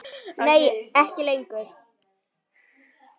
Nei ekki lengur.